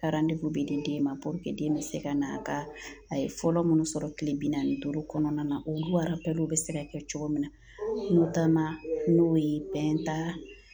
bɛ di den ma den bɛ se ka na ka a ye fɔlɔ minnu sɔrɔ tile bi naani ni duuru kɔnɔna na olu bɛ se ka kɛ cogo min na n'u taa la n'o ye